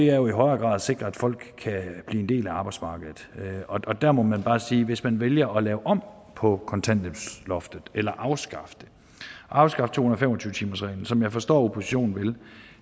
er jo i højere grad at sikre at folk kan blive en del af arbejdsmarkedet og der må man bare sige at hvis man vælger at lave om på kontanthjælpsloftet eller afskaffe det afskaffe to hundrede og fem og tyve timersreglen som jeg forstår at oppositionen vil